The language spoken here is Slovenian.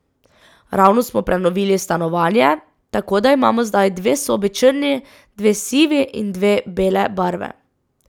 Ravno smo prenovili stanovanje, tako da imamo zdaj dve sobi črni, dve sivi in dve bele barve.